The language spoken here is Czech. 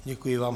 Děkuji vám.